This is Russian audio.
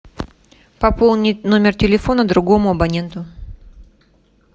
пополнить номер телефона другому абоненту